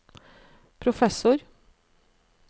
professor